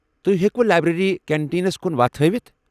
تۄہہِ ہیكِوٕ library contains کُن وتھ ہٲوتھ ؟